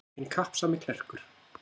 Hinn kappsami klerkur.